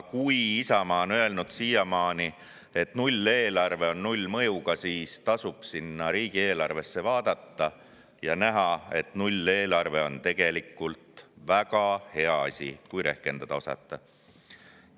Kui Isamaa on siiamaani öelnud, et nulleelarve on nullmõjuga, siis tasuks riigieelarvesse vaadata ja näha, et nulleelarve on tegelikult väga hea asi, kui rehkendada osata.